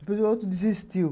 Depois o outro desistiu.